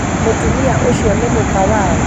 mũtumia ũcionĩ mũka waũ?